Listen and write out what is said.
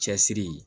Cɛsiri